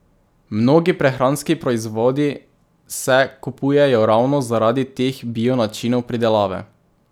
Mnogi prehranski proizvodi se kupujejo ravno zaradi teh bio načinov pridelave.